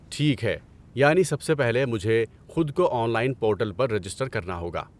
ٹھیک ہے! یعنی سب سے پہلے مجھے خود کو آن لائن پورٹل پر رجسٹر کرنا ہوگا۔